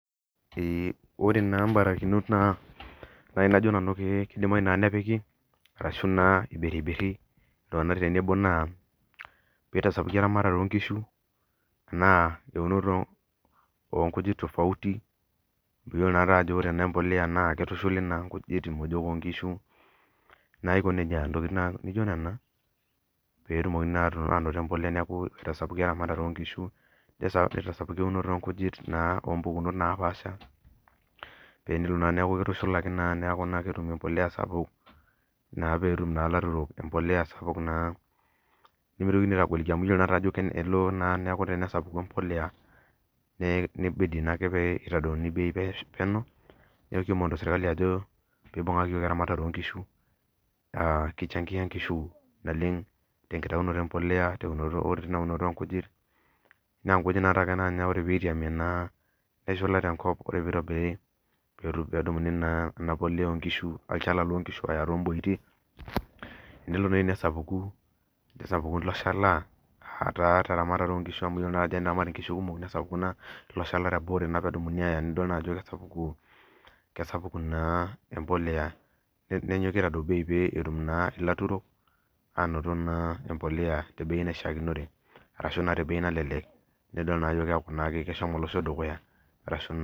Ore na mbarikinok na kajo nanu kidimayu nepiki ashu ibiribiri peitasapuki naa eloto onkuti tofauti nidolta ajo ore empolea na kitushuli naiko nejia nijo nona petumoki aitau eramatare onkishu nkujit napaasha tenilo naa nikitum empolea sapuk netum naa lairemok empolea sapuk nimitoki elo na nesapuku empolea nibidi pepuo serkali ajo peibungaki yiok esiai onkishu kichangia nkishu oleng tenkitaunoto empolea enkitubulunye onkishu ore pitobiri pedumuno ilo shala nelo nesapuku ilo shala teramatare o nkishu amu teneaku nkishu kumok nesapuku olchala ore pwdumuno aya nidol ajo kesapuku embolea nenyoki aitadou bei petum empolea nidil ajo keaku enedukuya